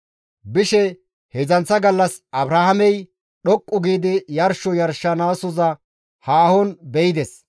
Bishe heedzdzanththa gallas Abrahaamey dhoqqu giidi yarsho yarshanasoza haahon be7ides.